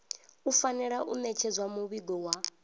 fanela u ṋetshedza muvhigo wa